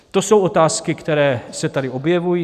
To jsou otázky, které se tady objevují.